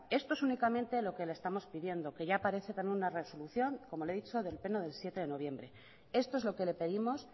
esto es únicamente lo que le estamos pidiendo que ya aparece como una resolución como le he dicho del pleno del siete de noviembre esto es lo que le pedimos